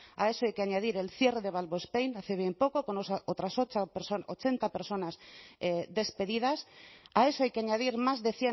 a eso hay que añadir el cierre de valvospain hace bien poco con otras ocho ochenta personas despedidas a eso hay que añadir más de